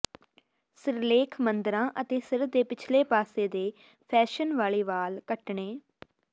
ਸਿਰਲੇਖ ਮੰਦਰਾਂ ਅਤੇ ਸਿਰ ਦੇ ਪਿਛਲੇ ਪਾਸੇ ਦੇ ਫੈਸ਼ਨ ਵਾਲੇ ਵਾਲ ਕੱਟਣੇ